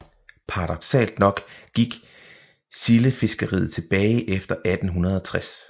Paradoksalt nok gik sildefiskeriet tilbage efter 1860